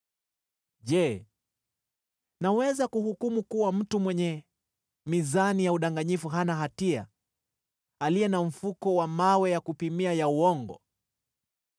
Je, naweza kuhukumu kuwa mtu mwenye mizani ya udanganyifu hana hatia, aliye na mfuko wa mawe ya kupimia ya uongo?